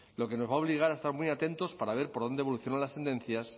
lo que nos va a obligar a estar muy atentos para ver por dónde evolucionan las tendencias